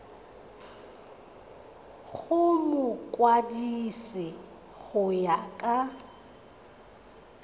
go mokwadise go ya ka